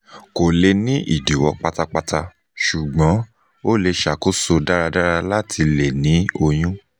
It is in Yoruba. ko le ni idiwọ patapata ṣugbọn o le ṣakoso daradara lati le ni oyun